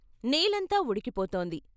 నేలంతా ఉడికిపోతోంది.